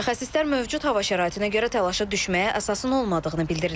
Mütəxəssislər mövcud hava şəraitinə görə təlaşa düşməyə əsasın olmadığını bildirirlər.